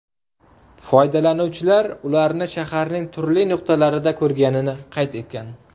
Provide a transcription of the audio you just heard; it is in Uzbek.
Foydalanuvchilar ularni shaharning turli nuqtalarida ko‘rganini qayd etgan.